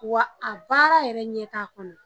Wa a baara yɛrɛ ɲɛ t'a kɔnɔ.